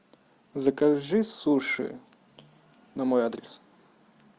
закажи суши на мой адрес